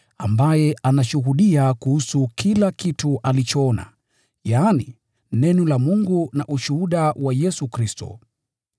ambaye anashuhudia kuhusu kila kitu alichokiona, yaani, Neno la Mungu na ushuhuda wa Yesu Kristo.